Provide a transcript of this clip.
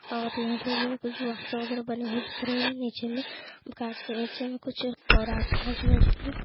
और यहाँ पर जो है कुछ बॉक्स वगैरह बने हुए दिख रहे हैं नीचे में काँच के नीचे में कुछ और आसपास में जो है --